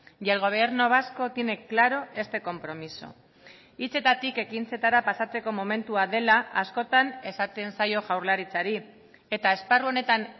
y el gobierno vasco tiene claro este compromiso hitzetatik ekintzetara pasatzeko momentua dela askotan esaten zaio jaurlaritzari eta esparru honetan